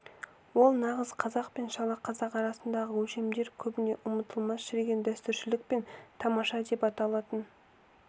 ол нағыз қазақ пен шала қазақ арасындағы өлшемдер көбіне ұмытылған шіріген дәстүршілдік пен тамаша деп аталатын